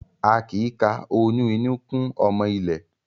A kì í ka oyún inú kún ọmọ ilé.